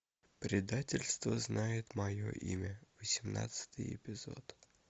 предательство знает мое имя восемнадцатый эпизод